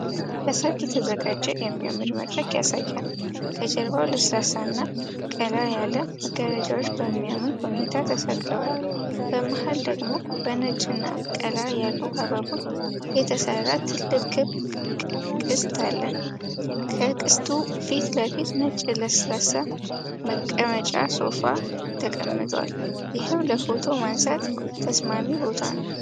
ለሠርግ የተዘጋጀ የሚያምር መድረክ ያሳያል። ከጀርባው ለስላሳና ቀላ ያለ መጋረጃዎች በሚያምር ሁኔታ ተሰቅለዋል። በመሃል ደግሞ በነጭና ቀላ ያሉ አበቦች የተሠራ ትልቅ ክብ ቅስት አለ። ከቅስቱ ፊት ለፊት ነጭ ለስላሳ መቀመጫ (ሶፋ) ተቀምጧል፤ ይህም ለፎቶ ማንሳት ተስማሚ ቦታ ነው።